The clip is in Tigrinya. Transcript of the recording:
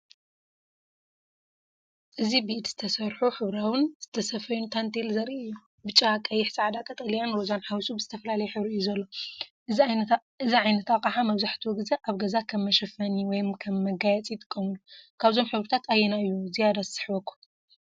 እዚ ብኢድ ዝተሰርሑን ሕብራዊን ዝተሰፍዩን ታንቴል ዘርኢ እዩ። ብጫ፣ ቀይሕ፣ ጻዕዳ፣ ቀጠልያን ሮዛን ሓዊሱ ብዝተፈላለየ ሕብሪ እዩ ዘሎ። እዚ ዓይነት ኣቕሓ መብዛሕትኡ ግዜ ኣብ ገዛ ከም መሸፈኒ ወይ ከም መጋየጺ ይጥቀመሉ። ካብዞም ሕብርታት ኣየናይ እዩ ዝያዳ ይስሕበኩም?